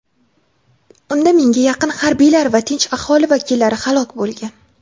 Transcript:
Unda mingga yaqin harbiylar va tinch aholi vakillari halok bo‘lgan.